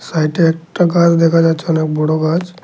সাইটে একটা গাছ দেখা যাচ্ছে অনেক বড় গাছ।